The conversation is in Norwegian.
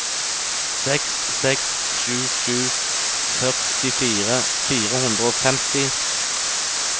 seks seks sju sju førtifire fire hundre og femti